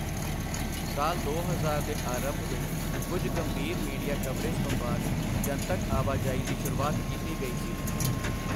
ਸਾਲ ਦੋ ਹਜ਼ਾਰ ਦੇ ਅਰੰਭ ਵਿੱਚ ਕੁੱਝ ਗੰਭੀਰ ਮੀਡੀਆ ਕਵਰੇਜ ਤੋਂ ਬਾਅਦ ਜਨਤਕ ਆਵਾਜਾਈ ਦੀ ਸ਼ੁਰੂਆਤ ਕੀਤੀ ਗਈ ਸੀ।